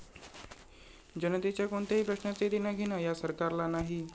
जनतेच्या कोणत्याही प्रश्नाचे देणघेण या सरकारला नाही.